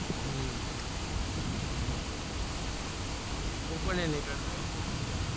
હમ હ પણ નહી નીકળતો